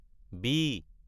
B